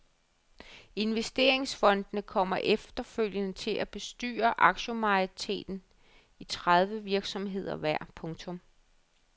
Investeringsfondene kommer efterfølgende til at bestyre aktiemajoriteten i tredive virksomheder hver. punktum